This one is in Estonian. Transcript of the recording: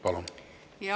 Palun!